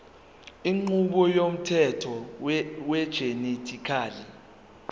inqubo yomthetho wegenetically